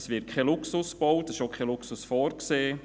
Es wird kein Luxus gebaut, es ist auch kein Luxus vorgesehen.